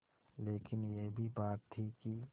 लेकिन यह भी बात थी कि